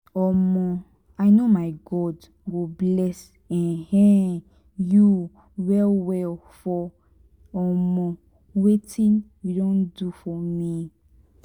um i know my god go bless um you well well for um wetin you don do for me.